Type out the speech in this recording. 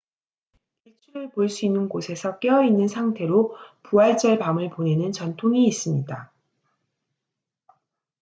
일출을 볼 수 있는 곳에서 깨어 있는 상태로 부활절 밤을 보내는 전통이 있습니다